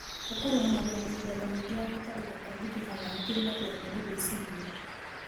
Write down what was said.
ũkuruhanagio na mĩthemba mĩingĩ ya gũtathũka kwa mĩkiha ya hakiri na kũremwo nĩ gwĩciria